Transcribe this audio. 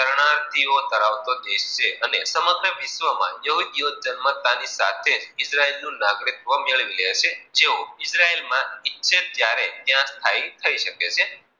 પ્રરતિઓ ધરાવતી ઓ દેશ છે. અને સમર્થ વિશ્વ માં યહહુદી ધર્મ ની સાથે ઈજરાયલ નું નગરીગ્ત્વ મેળવી લે છે જેઑ ઈજરાયલ માં ઈચ્છે ત્યારે સ્થાયી થઈ શકે છે.